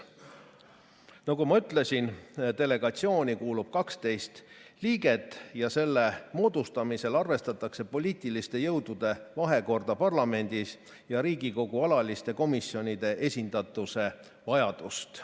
Nagu ma ütlesin, delegatsiooni kuulub 12 liiget ja selle moodustamisel arvestatakse poliitiliste jõudude vahekorda parlamendis ja Riigikogu alaliste komisjonide esindatuse vajadust.